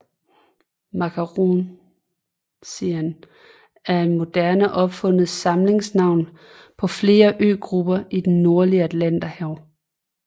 Makaronesien er et moderne opfundet samlingsnavn på flere øgrupper i det nordlige Atlanterhav